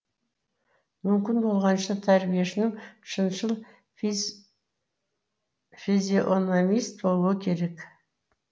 мүмкін болғанша тәрбиешінің шыншыл физиономист болуы керек